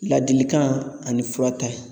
Ladilikan ani furata ye